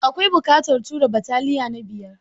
Akwai buƙatar tura bataliyan na biyar?